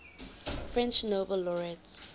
french nobel laureates